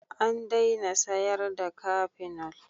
An daina sayarda cafenol.